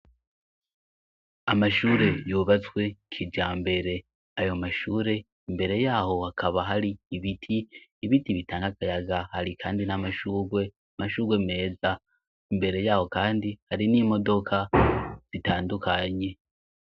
Amashure yubatswe kijambere, ayo mashure mbere yaho hakaba hari ibiti, ibiti bitanga akayaga, hari kandi n'amashurwe, amashurwe meza, imbere yaho kandi hari n'imodoka zitandukanye.